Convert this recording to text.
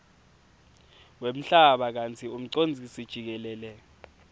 wemhlaba kantsi umcondzisijikelele